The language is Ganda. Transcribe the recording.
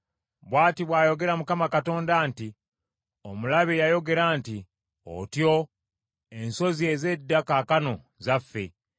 Bw’ati bw’ayogera Mukama Katonda nti, omulabe yayogera nti, ‘Otyo, ensozi ez’edda kaakano zaffe.’